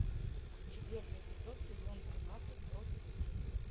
четвертый эпизод сезон тринадцать брод сити